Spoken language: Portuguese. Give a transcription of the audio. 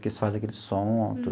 Que eles fazem aquele som, tudo.